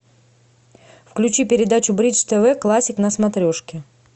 включи передачу бридж тв классик на смотрешке